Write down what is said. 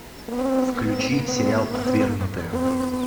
включи сериал отвергнутые